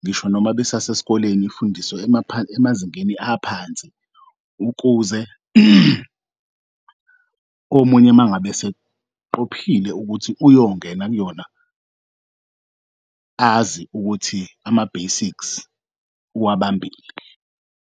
ngisho noma besase sikoleni ifundiswe emazingeni aphansi ukuze omunye mangabe eseqophile ukuthi uyongena kuyona azi ukuthi ama-basics uwabambile.